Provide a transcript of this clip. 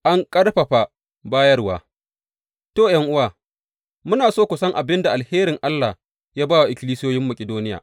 An ƙarfafa bayarwa To, ’yan’uwa, muna so ku san abin da alherin Allah ya ba wa ikkilisiyoyin Makidoniya.